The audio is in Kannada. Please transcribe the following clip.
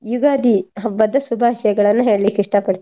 ಯುಗಾದಿ ಹಬ್ಬದ ಶುಭಾಶಯಗಳನ್ನು ಹೇಳ್ಳಿಕ್ಕೆ ಇಷ್ಟ ಪಡ್ತೇನೆ.